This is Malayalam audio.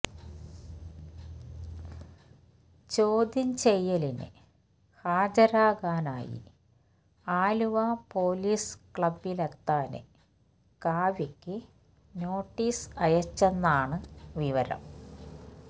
ചോദ്യം ചെയ്യാലിന് ഹാജരാകാനായി ആലുവ പോലീസ് ക്ലബിലെത്താന് കാവ്യയ്ക്ക് നോട്ടീസ് അയച്ചെന്നാണ് വിവരം